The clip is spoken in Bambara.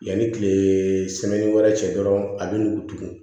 Yanni tile wɛrɛ cɛ dɔrɔn a bɛ n'u dogo